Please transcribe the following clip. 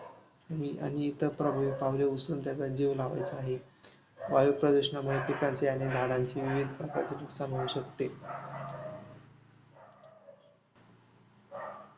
आणि इतर पापावले उचलून त्यांचा लावायचा आहे. वायुप्रदुषणामुळे पिकांचे आणि झाडांचे विविध प्रकारचे नुकसान होऊ शकते.